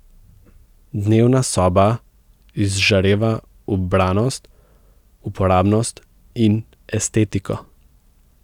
Dnevna soba izžareva ubranost, uporabnost in estetiko.